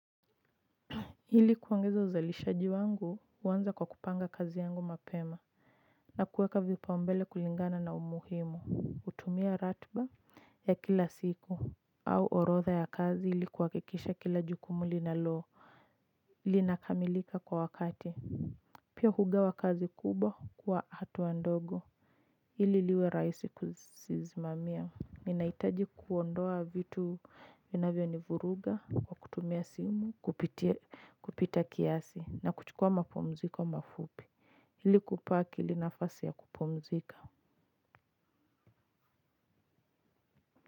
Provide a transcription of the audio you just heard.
Ili kuongeza uzalishaji wangu huanza kwa kupanga kazi yangu mapema na kuweka vipaumbele kulingana na umuhimu, hutumia ratiba ya kila siku au orodha ya kazi ili kuhakikisha kila jukumu linalo, linakamilika kwa wakati pia hugawa kazi kubwa kwa hatua ndogo ili liwe rahisi kuzisimamia. Ninahitaji kuondoa vitu vinavyonivuruga kwa kutumia simu, kupita kiasi na kuchukua mapumziko mafupi. Ili kubaki linafasi ya kupumzika.